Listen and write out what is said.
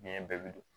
Biɲɛ bɛɛ bi don